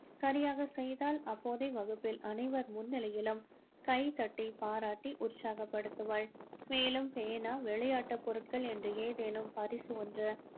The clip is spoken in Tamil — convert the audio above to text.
சரியாக செய்தால் அப்போதே வகுப்பில் அனைவர் முன்னிலையிலும் கைத்தட்டி பாராட்டி உற்சாகபடுத்துவாள். மேலும் பேனா விளையாட்டு பொருட்கள் என்று எதேனும் பரிசு ஒன்று